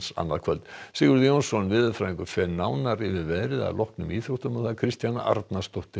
annað kvöld Sigurður Jónsson veðurfræðingur fer nánar yfir veðrið að loknum íþróttum Kristjana Arnarsdóttir